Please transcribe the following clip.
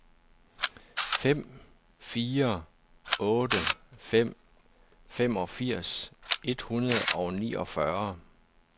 fem fire otte fem femogfirs et hundrede og niogfyrre